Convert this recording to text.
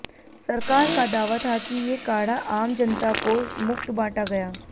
सरकार का दावा था कि ये काढ़ा आम जनता को मुफ़्त बांटा गया